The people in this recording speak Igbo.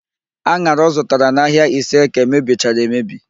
An̄ara ọ zụtara n'ahịa Iseeke mebichara emebi